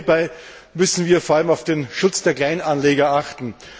Hierbei müssen wir vor allem auf den Schutz der Kleinanleger achten.